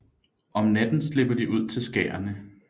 Om natten slipper de ud til skærene